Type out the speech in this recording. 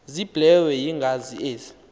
ziblelwe yingazi ezi